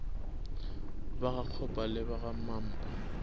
ba gakgopa le ba gamampa